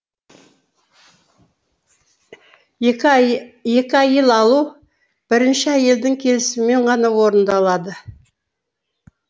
екі әйел алу тек бірінші әйелдің келісімімен ғана орындалады